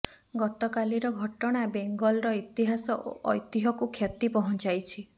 ଗତକାଲିର ଘଟଣା ବେଙ୍ଗଲର ଇତିହାସ ଓ ଐତିହ୍ୟକୁ କ୍ଷତି ପହଞ୍ଚାଇଛି